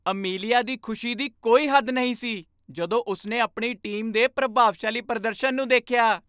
Amelia ਦੀ ਖੁਸ਼ੀ ਦੀ ਕੋਈ ਹੱਦ ਨਹੀਂ ਸੀ ਜਦੋਂ ਉਸਨੇ ਆਪਣੀ ਟੀਮ ਦੇ ਪ੍ਰਭਾਵਸ਼ਾਲੀ ਪ੍ਰਦਰਸ਼ਨ ਨੂੰ ਦੇਖਿਆ